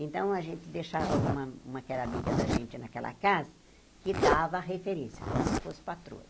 Então, a gente deixava uma uma que era amiga da gente naquela casa, que dava referência, como se fosse patroa.